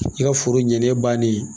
I ka foro ɲɛnen bannen